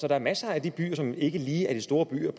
er masser af de byer som ikke lige er de store byer